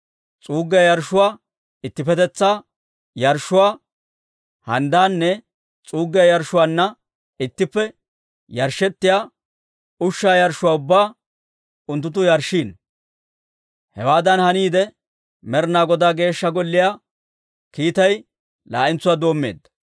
S'uuggiyaa yarshshuwaa, ittippetetsaa yarshshuwaa handdaanne s'uuggiyaa yarshshuwaanna ittippe yarshshettiyaa ushshaa yarshshuwaa ubbaa unttunttu yarshshiino. Hewaadan haniide, Med'inaa Godaa Geeshsha Golliyaa kiitay laa'entsuwaa doommeedda.